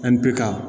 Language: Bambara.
An bɛ ka